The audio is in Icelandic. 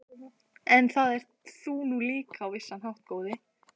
En það ert þú nú líka á vissan hátt, góði